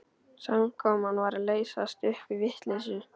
Samkoman var að leysast upp í vitleysu.